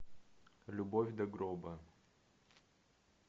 любовь до гроба